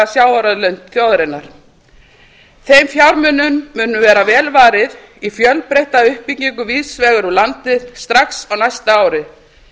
sjávarauðlind þjóðarinnar þeim fjármunum mun verða vel varið í fjölbreytta uppbyggingu víðs vegar um landið strax á næsta ári